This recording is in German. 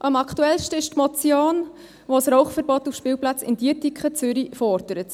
Am aktuellsten ist die Motion, die ein Rauchverbot auf Spielplätzen in Dietikon, Zürich, fordert.